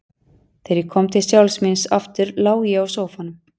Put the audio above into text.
Þegar ég kom til sjálfs mín aftur lá ég á sófanum.